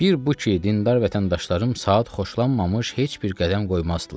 Bir bu ki, dindar vətəndaşlarım saat xoşlanmamış heç bir qədəm qoymazdılar.